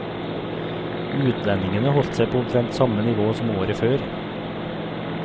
Utlendingene holdt seg på omtrent samme nivå som året før.